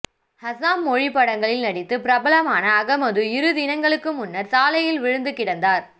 அசாம் மொழி திரைப்படங்களில் நடித்து பிரபலமான அகமது இரு தினங்களுக்கு முன்னர் சாலையில் விழுந்து கிடந்தார்